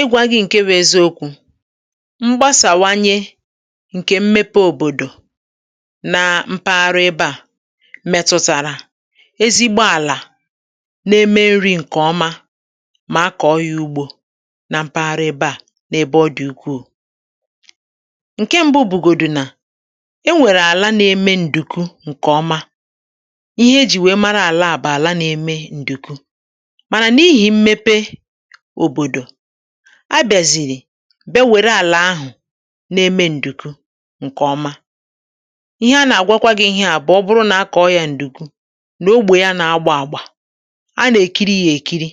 ịgwā gị̄ ṅ̀ke bụ̄ eziokwū mgbasàwanye ṅ̀kè mmepe òbòdò na mpaghara ebe à mètụ̀tàrà ezigbo àlà na-eme nrī ṅ̀kè ọma mà a kọ̀ọ ya ugbō na mpaghara ebe à n’ebe ọ dị̀ ukwuù ṅ̀ke mbụ̄ bụ̀gòdù nà e nwèrè àla na-eme ǹdùku ṅ̀kè ọma ihe e jì wèe mara àlà a wụ̀ àla na-eme ǹdùku mànà n’ihì mmepe òbòdò a bịàzìrì bịa wère àlà ahụ̀ na-eme ǹdùku ṅ̀kè ọma ihe a nà-agwakwa gị ihe à bụ̀ ọ bụrụ nà a kọ̀ọ yā ǹdùku nà ogbè yā nà-agba àgbà a nà-èkiri yā èkiri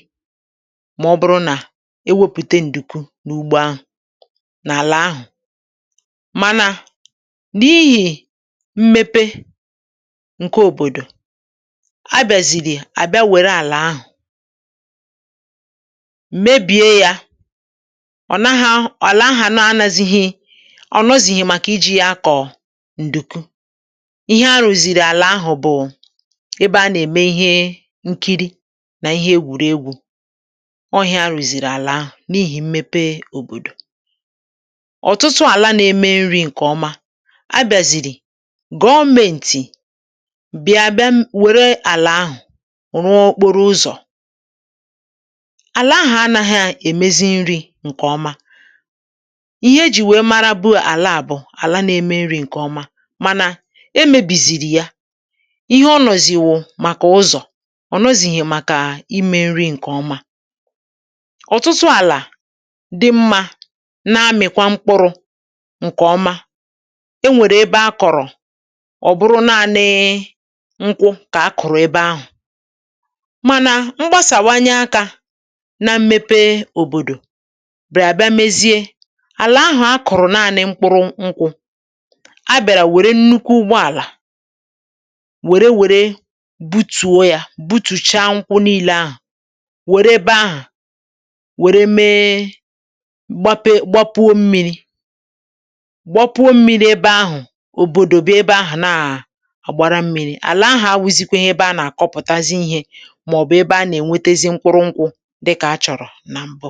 mà ọ bụrụ nà e wepùte ǹdùku n’ugbo ahụ̀ n’àlà ahụ̀ mànà n’ihì mmepe ṅ̀ke òbòdò a bịazìrì a bịa wère àlà ahà mebìe yā ọ nahaọ̄ àlà ahà na anazihi ọ̀ nọzìhì màkà ijī yā akọ̀ ǹdùku ihe a rụ̀zìrì àlà ahụ̀ bụ̀ ebe a nà-ème ihe ṅkiri nà ihe egwùregwū ọọ̄ ihe a rụ̀zìrì àlà ahụ̀ n’ihì mmepe òbòdò ọ̀tụtụ àla na-eme nrī ṅ̀kè ọma a bị̀azìrì gọmēntì bị̀a bem wère àlà ahụ̀ rụọ okporo ụzọ̀ àlà ahà anāhā èmezi nrī ṅ̀kè ọma ihe e jì wèe marabu àla à bụ̀ àla na-eme nrī ṅ̀kè ọma mànà e mēbìzìrì ya ihe ọ nọ̀zì wụ̀ màkà ụzọ̀ ọ̀ nọzìhì màkà imē nri ṅ̀kè ọma ọtụtụ àlà dị mmā na-amị̀kwa mkpụrụ̄ ṅ̀kè ọma e nwèrè ebe a kọ̀rọ̀ e nwèrè ebe a kọ̀rọ̀ ṅ̀kwụ kà a kụ̀rụ̀ ebe ahù̩ mànà mgbasàwanye akā na mmepe òbòdò bịàrà bịa mezie àlà ahà a kụ̀rụ̀ naanị̄ mkpụrụ ṅkwụ̄ a bịàrà wère nnukwu ụgbọ àlà wère wère butùo yā butùchaa ṅkwụ niilē ahà wère ebe ahà wère mee gbape gbapuo mmīrī gbapuo mmīrī ebe ahụ̀ òbòdò bịa ebe ahà naà àgbara mmīrī àlà ahà awụ̄zīkwēhē ebe a nà-àkọpụ̀tazi ihē màọ̀bụ̀ ebe a nà-ènwetezi mkpụrụ ṅkwụ̄ dịkà a chọ̀rọ̄ nà m̀bụ